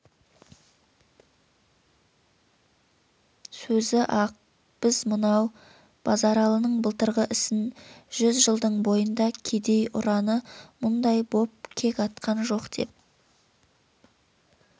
сөзі-ақ біз мынау базаралының былтырғы ісін жүз жылдың бойында кедей ұраны мұндай боп кек атқан жоқ деп